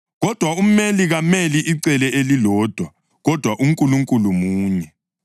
Kodwa umeli kameli icele elilodwa; kodwa uNkulunkulu munye.